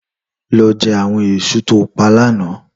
Lò jè áwòn èsú tá pá làná